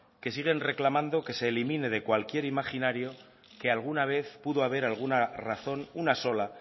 que siguen reclamando que se elimine de cualquier imaginario que alguna vez pudo haber alguna razón una sola